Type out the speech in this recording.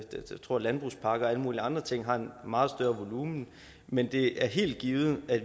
tror at landbrugspakker og alle mulige andre ting har en meget større volumen men det er helt givet at